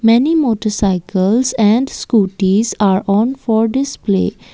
many motarcycles and scootys are on for display.